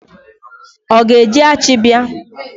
Ọ ga-eji achi bịa?